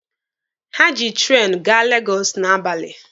Ha ji treenụ gaa Legọsụ n'abalị.